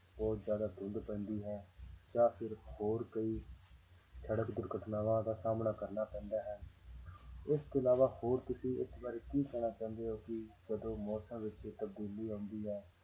ਬਹੁਤ ਜ਼ਿਆਦਾ ਧੁੰਦ ਪੈਂਦੀ ਹੈ ਜਾਂ ਫਿਰ ਹੋਰ ਕਈ ਸੜਕ ਦੁਰਘਟਨਾਵਾਂ ਦਾ ਸਾਹਮਣਾ ਕਰਨਾ ਪੈਂਦਾ ਹੈ ਇਸ ਤੋਂ ਇਲਾਵਾ ਹੋਰ ਤੁਸੀਂ ਇਸ ਬਾਰੇ ਕੀ ਕਹਿਣਾ ਚਾਹੁੰਦੇ ਹੋ ਕਿ ਜਦੋਂ ਮੌਸਮਾਂ ਵਿੱਚ ਤਬਦੀਲੀ ਆਉਂਦੀ ਹੈ